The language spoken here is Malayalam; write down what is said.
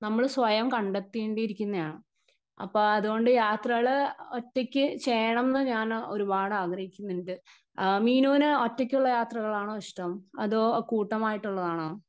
സ്പീക്കർ 1 നമ്മൾ സ്വയം കണ്ടെത്തേണ്ടിയിരിക്കുന്നയാണ്. അപ്പൊ അതുകൊണ്ട് യാത്രകൾ ഒറ്റയ്ക്ക് ചെയ്യണോന്ന് ഞാന് ഒരുപാട് ആഗ്രഹിക്കുന്നുണ്ട്. ആ മീനൂന് ഒറ്റക്കുള്ള യാത്രകളാണോ ഇഷ്ടം അതോ കൂട്ടമായിട്ടുള്ളതാണോ?